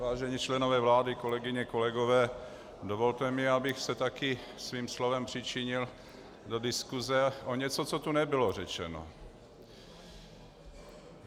Vážení členové vlády, kolegyně, kolegové, dovolte mi, abych se také svým slovem přičinil do diskuse o něco, co tu nebylo řečeno.